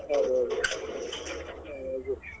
ಹೌದೌದ್ .